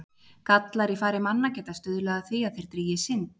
Gallar í fari manna geta stuðlað að því að þeir drýgi synd.